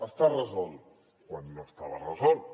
està resolt quan no estava resolt